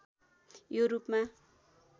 यो रूपमा